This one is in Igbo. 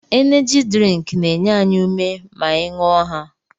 Eneji drink na-enye anyị ume ma anyị ṅụọ ha